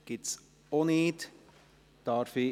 – Das ist auch nicht der Fall.